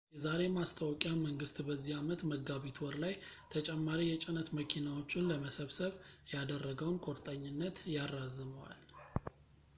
የዛሬ ማስታወቂያ መንግሥት በዚህ ዓመት መጋቢት ወር ላይ ተጨማሪ የጭነት መኪናዎችን ለመሰብሰብ ያደረገውን ቁርጠኝነት ያራዝመዋል